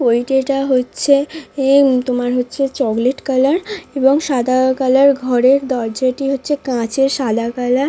পৈটে হচ্ছে এম তোমার হচ্ছে চকলেট কালার এবং সাদা কালার ঘরের দরজাটি হচ্ছে কাঁচের সাদা কালা --